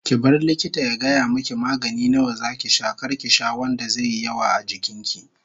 Ki bari likita ya gaya miki magani nawa zaki sha kar ki sha wanda zaiyi yawa a jikin ki